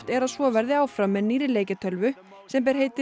er að svo verði áfram með nýrri leikjatölvu sem ber heitið